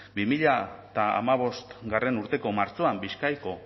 bi mila hamabostgarrena urteko martxoan bizkaiko